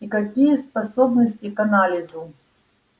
и какие способности к анализу